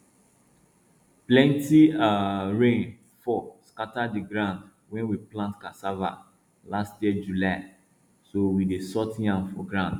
plenty um rain fall scatter di ground wey we plant um cassava last year july so we dey sort yam for ground